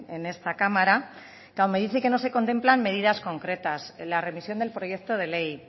en esta cámara claro me dice que no se contemplan medidas concretas en la remisión del proyecto de ley